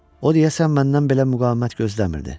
O deyəsən məndən belə müqavimət gözləmirdi.